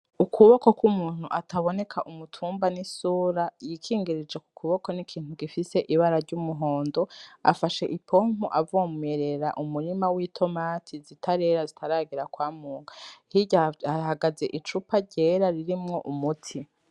Ukuboko k'umuntu ataboneka umutumba n'isura yikingirije k'ukuboko n'ikintu gifise ibara ry'umuhondo afashe ipompo avomerera umurima w'itomati zitarera zitaragera kwamurwa hirya hahagaze icupa ryera ririmwo umuti.